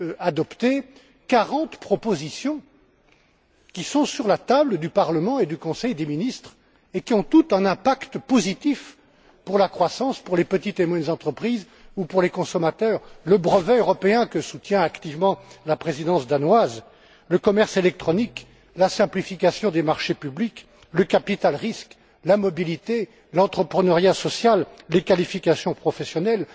adopté, 40 propositions qui sont sur la table du Parlement et du Conseil des ministres, et qui ont toutes un impact positif sur la croissance des petites et moyennes entreprises ou sur les consommateurs, le brevet européen, que soutient activement la présidence danoise, le commerce électronique, la simplification des marchés publics, le capital risque, la mobilité, l'entrepreneuriat social, les qualifications professionnelles.